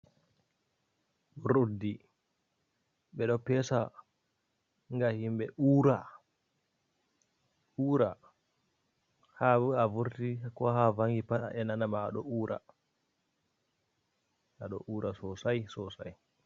Urdi be do pesa ga himbe ura, ha a vurti ko ha vangi pat a enanama a do ura sosa sosai.